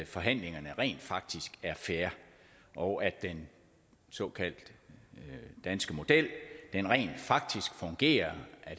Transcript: forhandlingerne rent faktisk er fair og at den såkaldte danske model rent faktisk fungerer